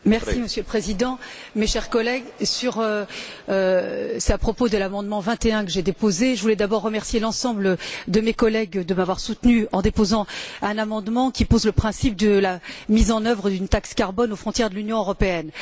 Monsieur le Président, mes chers collègues, à propos de l'amendement 21 que j'ai déposé, je voudrais d'abord remercier l'ensemble de mes collègues de m'avoir soutenue en déposant un amendement qui pose le principe de la mise en œuvre d'une taxe carbone aux frontières de l'Union européenne.